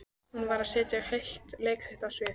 Hún varð að setja heilt leikrit á svið.